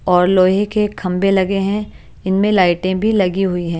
ओर लोहे के खम्भे लगे हैं और इनमे लाइटें भी लगी हुई हैं।